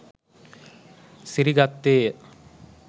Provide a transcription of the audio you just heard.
සිරි ගත්තේය.